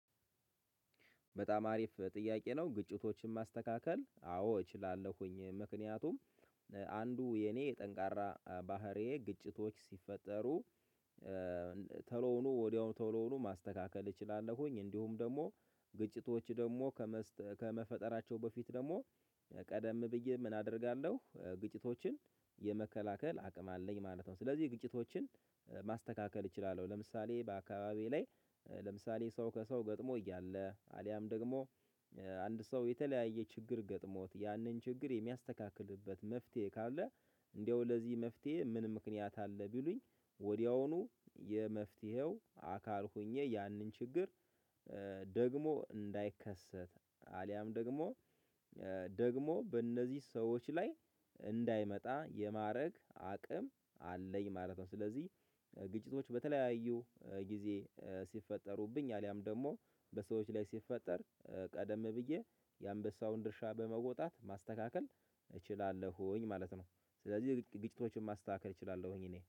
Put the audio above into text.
በጣም አሪፍ ጥያቄ ነው ግጭቶችን ማስተካከል አዎ እችላለሁኝ ምክንያቱም አንዱ የኔ የጠንካራ ባህሪዬ ግጭቶች ሲፈጠሩ ተሎ ብሎ ወዲያውኑ ተሎ ሁኖ ማስተካከል እችላለሁኝ። እንዲሁም ደግሞ ግጭቶች ደግሞ ከመፈጠራቸው በፊት ቀደም ብዬ ምን አደርጋለሁ ግጭቶችን የመከላከል አቅም አለኝ ማለት ነው። ስለዚህ ግጭቶችን ማስተካከል እችላለሁ ለምሳሌ በአካባቢዬ ላይ ለምሳሌ ሰው ከሰው ገጥሞ እያለ አሊያም ደግሞ አንድ ሰው የተለያየ ችግር ገጥሞት ያንን ችግር የሚያስተካክልበት መፍትሄ ካለ እንዲያው ለዚህ መፍትሄ ምን ምክንያት አለ ቢሉኝ? ወዲያውኑ የመፍትሄው አካል ሆኜ ያንን ችግር ደግሞ እንዳይከሰት አልያም ደግሞ በእነዚህ ሰዎች ላይ እንዳይመጣ የማድረግ አቅም አለኝ ማለት ነው። ስለዚህ ግጭቶች በተለያዩ ጊዜ ሲፈጠሩብኝ አሊያም ደግሞ በሰዎች ላይ ሲፈጠር ቀደም ብዬ የአንበሳውን ድርሻ በመውጣት ማስተካከል እችላለሁኝ ማለት ነው። ስለዚህ ግጭቶችን ማስተካከል እችላለሁኝ እኔ።